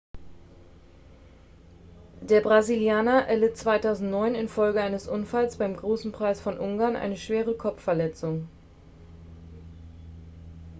der brasilianer erlitt 2009 infolge eines unfalls beim großen preis von ungarn eine schwere kopfverletzung